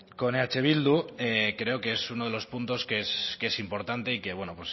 con eh bildu creo que es uno de los puntos que es importante y que bueno